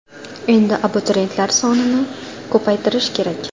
Endi abituriyentlar sonini ko‘paytirish kerak.